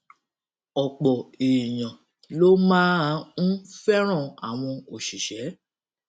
òpò èèyàn ló máa ń fẹràn àwọn òṣìṣé